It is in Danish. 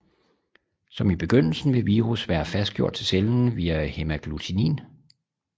Som i begyndelsen vil virus være fastgjort til cellen via hæmagglutinin